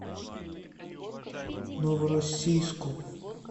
новороссийску